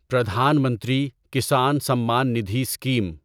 Pradhan Mantri Kisan Samman Nidhi scheme